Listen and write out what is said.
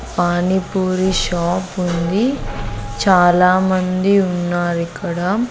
Panipuri shop ఉంది చాలామంది ఉన్నారిక్కడ.